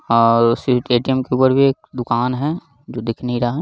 और उसी ए.टी.एम. के ऊपर भी एक दुकान है जो दिख नहीं रहा।